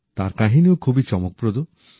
তাঁর কাহিনীও খুবই চমকপ্রদ